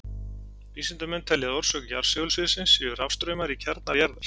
Vísindamenn telja að orsök jarðsegulsviðsins séu rafstraumar í kjarnar jarðar.